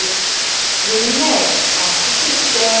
Einn og einn sáldrast þeir um hverfið.